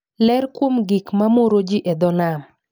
ler kuom gik mamoroji e dho nam